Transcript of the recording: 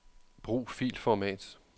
Brug filformat.